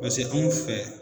Pase anw fɛ